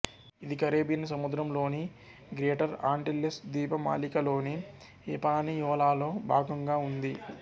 ఇది కరీబియన్ సముద్రం లోని గ్రేటర్ ఆంటిల్లెస్ ద్వీపమాలికలోని హిపానియోలాలో భాగంగా ఉంది